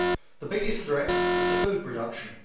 The biggest threat is to food production.